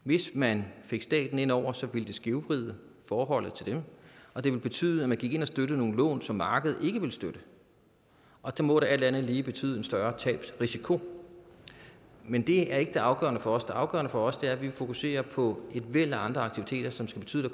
hvis man fik staten ind over ville det skævvride forholdet til dem og det ville betyde at man gik ind og støttede nogle lån som markedet ikke ville støtte og det må da alt andet lige betyde en større tabsrisiko men det er ikke afgørende for os det afgørende for os er at vi vil fokusere på et væld af andre aktiviteter som skal betyde at